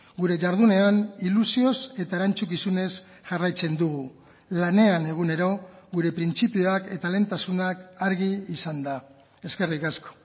gure jardunean ilusioz eta erantzukizunez jarraitzen dugu lanean egunero gure printzipioak eta lehentasunak argi izanda eskerrik asko